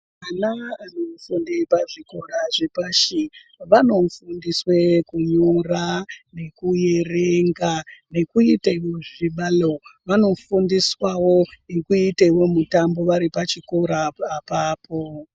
Ana anofunde pazvikora zvepashi, vanofundiswe kunyora nekuerenga, nekuitewo zvibalo. Vanofundiswawo nekuitewo mitambo vari pachikora apapo.